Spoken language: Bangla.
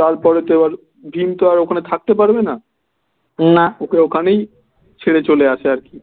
তারপরে তো আর ভীম তো আর ওখানে থাকতে পারবে না ওকে ওখানেই ছেড়ে চলে আসে আর কি